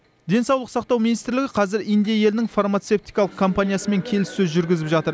денсаулық сақтау министрлігі қазір индия елінің фармацевтикалық компаниясымен келіссөз жүргізіп жатыр